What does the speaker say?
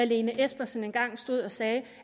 lene espersen engang stod og sagde